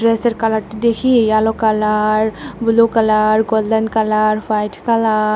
ড্রেসের কালারটি দেখি yellow colour blue colour golden colour white colour.